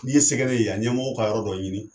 N'i ye se kɛ ne ye yan ɲɛmɔgɔw ka yɔrɔ dɔ ɲini